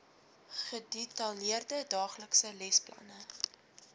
gedetailleerde daaglikse lesplanne